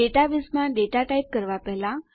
ડેટાબેઝમાં data type કરવા પહેલા